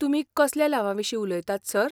तुमी कसल्या लावांविशीं उलयतात, सर?